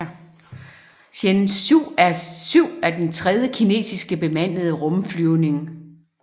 Shenzhou 7 er den tredje kinesiske bemandede rumflyvning